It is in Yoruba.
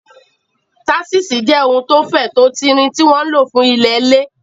Táṣíṣì jẹ́ ohun tó fẹ̀, tó tin rin, tí wọ́n ń lò fún ilẹ̀ lẹ̀